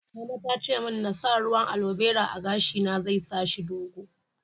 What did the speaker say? Mama ta ce mun n'sa ruwan aloe vera a'gashi na, zai sa shi dogo.